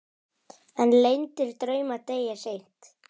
En leyndir draumar deyja seint.